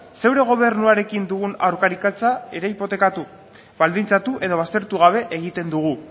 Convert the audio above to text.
zure gobernuarekin dugun ere hipotekatu baldintzatu edo baztertu gabe egiten dugu